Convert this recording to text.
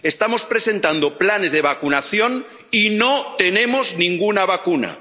Estamos presentando planes de vacunación y no tenemos ninguna vacuna.